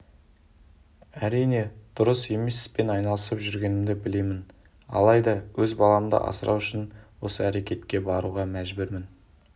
әрине дұрыс емес іспен айналысып жүргенімді білемін алайда өз баламды асырау үшін осы әрекетке баруға мәжбүрмін